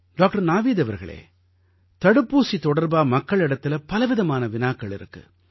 doctor Naveed அவர்களே தடுப்பூசி தொடர்பா மக்களிடத்தில பலவிதமான வினாக்கள் இருக்கு